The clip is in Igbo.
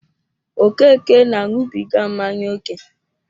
Okeke na añubiga mmanya ókè